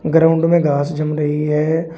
Ground में घास जम रही है।